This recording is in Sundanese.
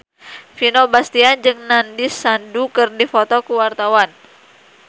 Vino Bastian jeung Nandish Sandhu keur dipoto ku wartawan